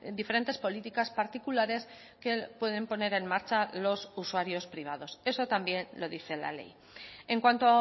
diferentes políticas particulares que pueden poner en marcha los usuarios privados eso también lo dice la ley en cuanto